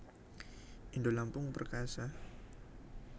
Indolampung Perkasa